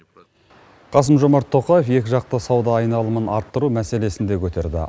қасым жомарт тоқаев екіжақты сауда айналымын арттыру мәселесін де көтерді